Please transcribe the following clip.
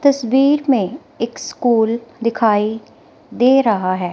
तस्वीर में एक स्कूल दिखाई दे रहा है।